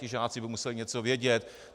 Ti žáci by museli něco vědět.